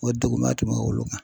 O degunba tun be olu kan.